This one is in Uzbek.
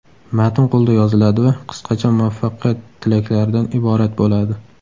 Matn qo‘lda yoziladi va qisqacha muvaffaqiyat tilaklaridan iborat bo‘ladi.